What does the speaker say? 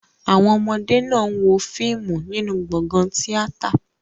Àwọn ọmọdé náà ń wo fíìmù nínú gbọ̀ngàn tíátà.